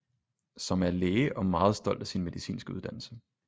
Som er læge og meget stolt af sin medicinske uddannelse